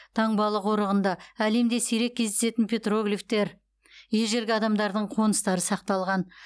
таңбалы қорығында әлемде сирек кездесетін петроглифтер ежелгі адамдардың қоныстары сақталған